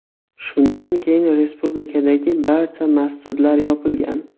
Shundan keyin respublikadagi barcha masjidlar yopilgan.